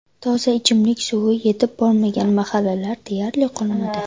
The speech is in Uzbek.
Toza ichimlik suvi yetib bormagan mahallalar deyarli qolmadi.